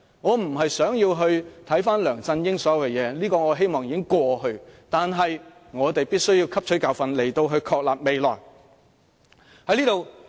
我不是想回顧梁振英所有的事情，這些已成過去，但我們必須汲取教訓以確立未來路向。